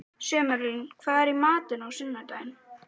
Sumarlín, hvað er í matinn á sunnudaginn?